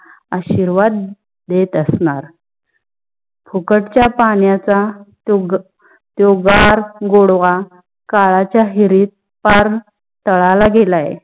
आशीर्वाद देत असनार. फुकट च्या पानाच्या तो त्यो गार गोडवा काळाच्या हिरीत पार ताडा ला गेला आहे.